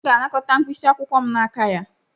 M ga-anakọta mkpịsị akwụkwọ m n'aka ya.